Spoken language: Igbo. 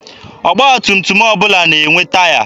Ọgba tum tum ọbụla na-enwe taya.